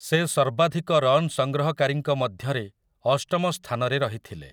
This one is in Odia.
ସେ ସର୍ବାଧିକ ରନ୍ ସଂଗ୍ରହକାରୀଙ୍କ ମଧ୍ୟରେ ଅଷ୍ଟମ ସ୍ଥାନରେ ରହିଥିଲେ ।